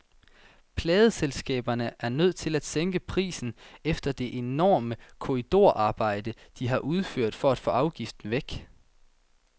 Pladeselskaberne er nødt til at sænke prisen efter det enorme korridorarbejde, de har udført for at få afgiften væk.